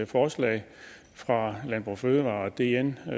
forslag fra landbrug fødevarer og dn og